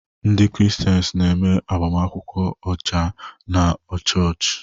Ndị Kraịstians na-eme agbamakwụkwọ ọcha na chọọchị.